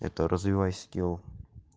это развивай скил